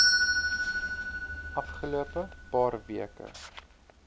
afgelope paar weke